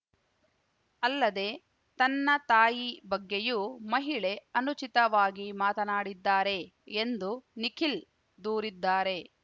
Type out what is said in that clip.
ಅಲ್ಲದೆ ತನ್ನ ತಾಯಿ ಬಗ್ಗೆಯೂ ಮಹಿಳೆ ಅನುಚಿತವಾಗಿ ಮಾತನಾಡಿದ್ದಾರೆ ಎಂದು ನಿಖಿಲ್‌ ದೂರಿದ್ದಾರೆ